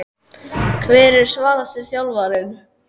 Hver er svalasti þjálfarinn?